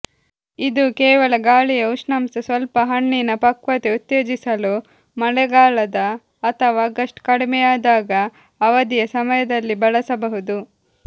ಇದು ಕೇವಲ ಗಾಳಿಯ ಉಷ್ಣಾಂಶ ಸ್ವಲ್ಪ ಹಣ್ಣಿನ ಪಕ್ವತೆ ಉತ್ತೇಜಿಸಲು ಮಳೆಗಾಲದ ಅಥವಾ ಆಗಸ್ಟ್ ಕಡಿಮೆಯಾದಾಗ ಅವಧಿಯ ಸಮಯದಲ್ಲಿ ಬಳಸಬಹುದು